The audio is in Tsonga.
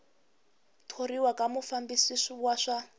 thoriwa ka mufambisi wa swa